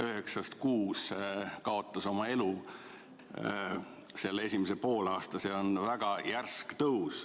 Üheksast kuus kaotas oma elu sellel esimesel poolaastal, see on väga järsk tõus.